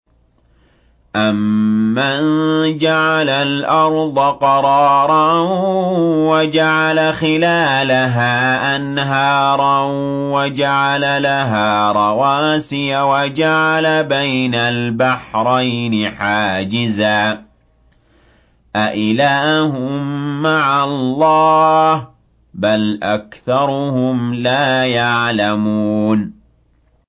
أَمَّن جَعَلَ الْأَرْضَ قَرَارًا وَجَعَلَ خِلَالَهَا أَنْهَارًا وَجَعَلَ لَهَا رَوَاسِيَ وَجَعَلَ بَيْنَ الْبَحْرَيْنِ حَاجِزًا ۗ أَإِلَٰهٌ مَّعَ اللَّهِ ۚ بَلْ أَكْثَرُهُمْ لَا يَعْلَمُونَ